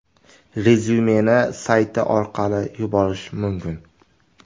Rezyumeni sayti orqali yuborish mumkin.